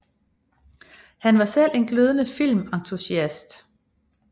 Han var selv en glødende filmentusiast